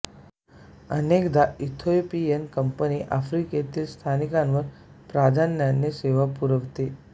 अनेकदा Ethiopian company आफ्रिकेतील स्थानकांवर प्राधान्याने सेवा पुरवीते